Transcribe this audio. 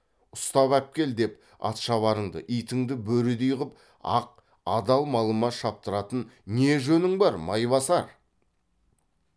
ұстап әпкел деп атшабарыңды итіңді бөрідей қып ақ адал малыма шаптыратын не жөнің бар майбасар